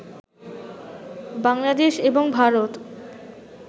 বাংলাদেশ এবং ভারত